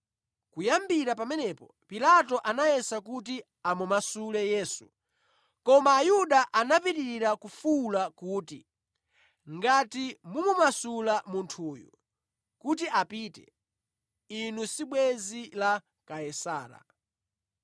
Kuyambira pamenepo Pilato anayesa kuti amumasule Yesu, koma Ayuda anapitirira kufuwula kuti, “Ngati mumumasula munthuyu kuti apite, inu si bwenzi la Kaisara.”